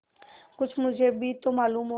कुछ मुझे भी तो मालूम हो